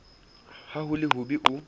ha ho le hobe o